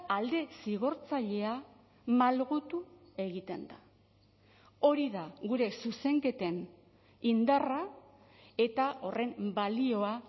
alde zigortzailea malgutu egiten da hori da gure zuzenketen indarra eta horren balioa